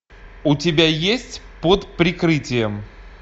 у тебя есть под прикрытием